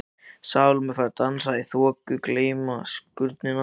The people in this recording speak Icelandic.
Salóme fær að dansa í þoku gleymskunnar.